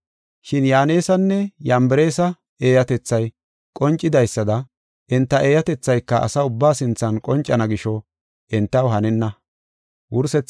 Shin Yaanesanne Yambareesa eeyatethay qoncidaysada enta eeyatethayka asa ubbaa sinthan qoncana gisho entaw hanenna.